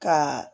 Ka